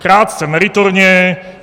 Krátce, meritorně.